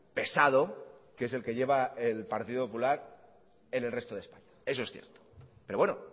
pesado que es el que lleva el partido popular en el resto de españa eso es cierto pero bueno